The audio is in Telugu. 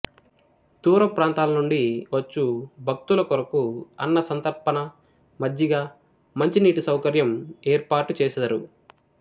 దూర ప్రాంతాల నుండి వచ్చు భక్తుల కొరకు అన్నసంతర్పణ మజ్జిగ మంచినీటి సౌకర్యం ఏర్పాటుచేసెదరు